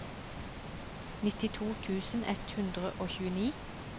nittito tusen ett hundre og tjueni